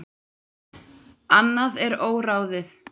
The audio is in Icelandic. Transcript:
Annað er óráðið.